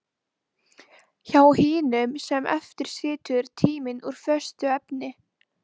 Hjá hinum sem eftir situr er tíminn úr föstu efni.